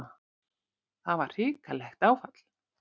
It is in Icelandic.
Það var hrikalegt áfall.